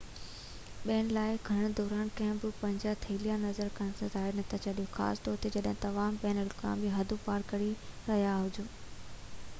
ٻين لاءِ کڻڻ دوران ڪڏهن به پنهنجا ٿيلها نظر کان ٻاهر نه ڇڏيون خاص طور تي جڏهن توهان بين الاقوامي حدون پار ڪري رهيا هجو